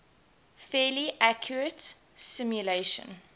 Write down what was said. fairly accurate simulation